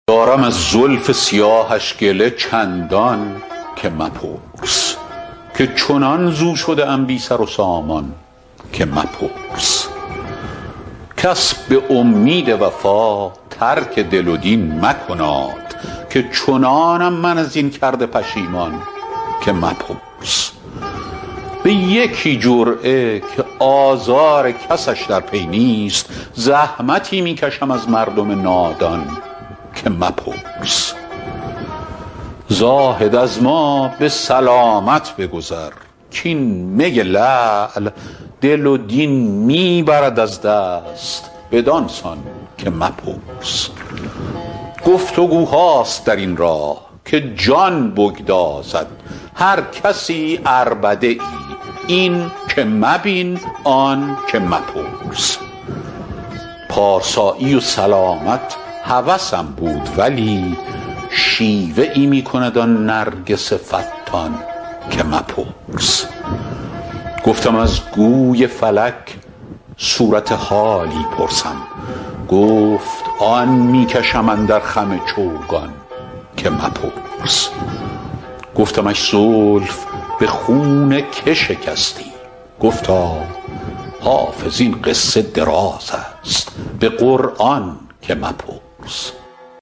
دارم از زلف سیاهش گله چندان که مپرس که چنان ز او شده ام بی سر و سامان که مپرس کس به امید وفا ترک دل و دین مکناد که چنانم من از این کرده پشیمان که مپرس به یکی جرعه که آزار کسش در پی نیست زحمتی می کشم از مردم نادان که مپرس زاهد از ما به سلامت بگذر کـ این می لعل دل و دین می برد از دست بدان سان که مپرس گفت وگوهاست در این راه که جان بگدازد هر کسی عربده ای این که مبین آن که مپرس پارسایی و سلامت هوسم بود ولی شیوه ای می کند آن نرگس فتان که مپرس گفتم از گوی فلک صورت حالی پرسم گفت آن می کشم اندر خم چوگان که مپرس گفتمش زلف به خون که شکستی گفتا حافظ این قصه دراز است به قرآن که مپرس